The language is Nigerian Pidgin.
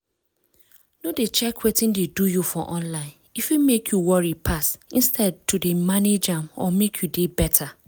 no dey check wetin dey do you for online e fit make you worry pass instead to dey manage am or make you dey better.